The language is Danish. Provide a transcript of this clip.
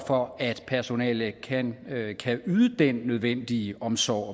for at personalet kan kan yde den nødvendige omsorg